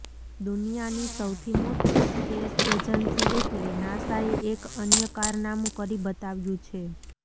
દુનિયાની સૌથી મોટી સ્પેસ એજન્સી એટલે નાસાએ એક અન્ય કારનામું કરી બતાવ્યું છે